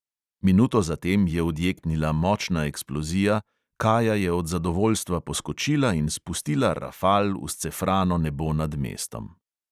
Minuto zatem je odjeknila močna eksplozija, kaja je od zadovoljstva poskočila in spustila rafal v scefrano nebo nad mestom.